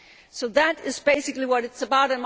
So that is basically what it is